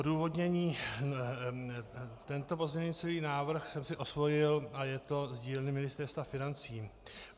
Odůvodnění: Tento pozměňující návrh jsem si osvojil a je to z dílny Ministerstva financí.